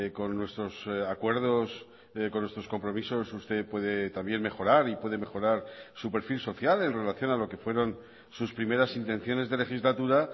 con nuestros acuerdos con nuestros compromisos usted puede también mejorar y puede mejorar su perfil social en relación a lo que fueron sus primeras intenciones de legislatura